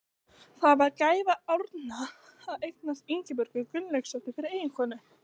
Það var gæfa Árna að eignast Ingibjörgu Gunnlaugsdóttur fyrir eiginkonu.